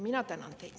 Mina tänan teid.